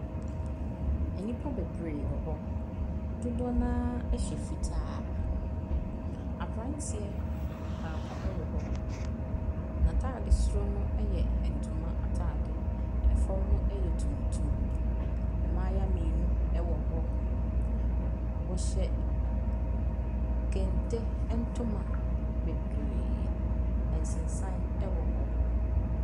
Enipa bebree wɔ hɔ. Dodoɔ na ɛhyɛ fitaa Aberanteɛ baako ɛwɔ hɔ. Na taade soro no yɛ ɛntoma ataade. Ɛfɔm no yɛ tuntum. Ɛmbaayiwa mienu ɛwɔ hɔ. W'ɔhyɛ kente ɛntoma bebree. Ɛnsesan ɛwɔ hɔ.